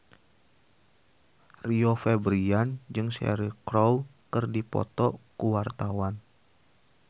Rio Febrian jeung Cheryl Crow keur dipoto ku wartawan